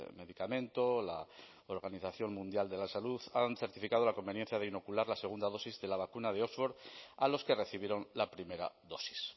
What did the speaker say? medicamento la organización mundial de la salud han certificado la conveniencia de inocular la segunda dosis de la vacuna de oxford a los que recibieron la primera dosis